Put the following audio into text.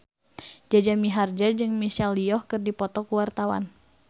Jaja Mihardja jeung Michelle Yeoh keur dipoto ku wartawan